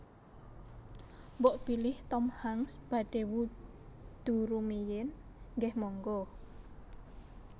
Mbok bilih Tom Hanks badhe wudhu rumiyin nggeh monggo